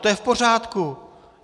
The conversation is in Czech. To je v pořádku.